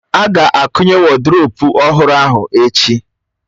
A ga-akụnye woduropu ọhụrụ ahụ echi